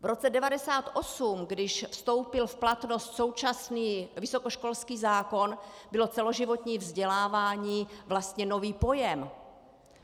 V roce 1998, když vstoupil v platnost současný vysokoškolský zákon, bylo celoživotní vzdělávání vlastně novým pojmem.